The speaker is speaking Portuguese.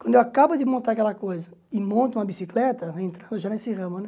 Quando eu acabo de montar aquela coisa e monto uma bicicleta, já nesse ramo, né?